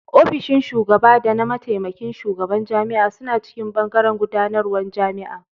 Ofishin shugaba da na mataimakin Shugaban Jami'a suna cikin bangaren gudanarwar jami'a.